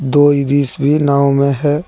दो भी नाव में है।